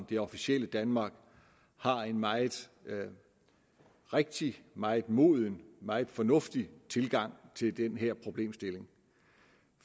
det officielle danmark har en meget rigtig meget moden meget fornuftig tilgang til den her problemstilling